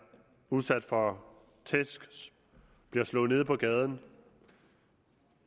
udsat for tæsk bliver slået ned på gaden